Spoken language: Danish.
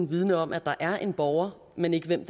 vidende om at der er en borger men ikke hvem